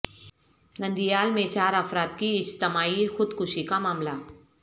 نندیال میں چار افراد کی اجتماعی خود کشی کا معاملہ